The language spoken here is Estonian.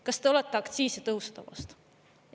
Kas te olete aktsiisitõusude vastu?